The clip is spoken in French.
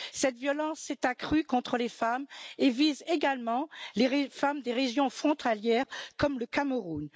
Cette violence s'est accrue contre les femmes et vise également les femmes des régions frontalières comme le Cameroun.